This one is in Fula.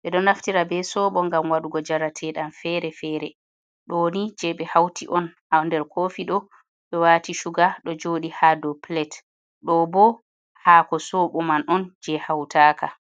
Ɓe ɗo naftira be soobo ngam waɗugo njarateɗam fere-fere ɗo ni jei ɓe hauti on ha nder koofi ɗo ɓe waati shuga ɗo jooɗi ha dou plate ɗo bo haako sobo man on jei hautaka.